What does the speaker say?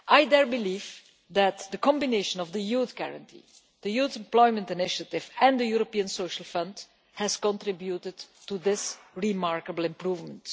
I believe that the combination of the Youth Guarantee, the Youth Employment Initiative and the European Social Fund has contributed to this remarkable improvement.